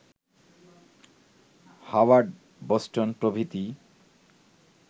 Howard, Boston প্রভৃতি